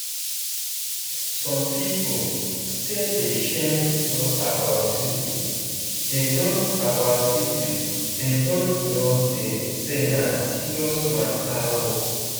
some people still dey shame to talk about syphilisthey don't about syphilisthey don't know say na serious mater oo